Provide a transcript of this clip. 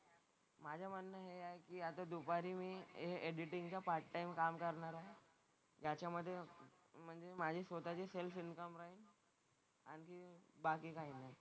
माझं म्हणणं हे आहे की आता दुपारी मी हे एडिटिंगचं पार्ट टाइम काम करणार आहे. त्याच्यामधे म्हणजे माझी स्वतःची सेल्फ इन्कम आहे. आणि बाकी काही नाही.